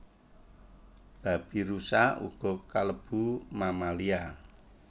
Babirusa uga kalebu mammalia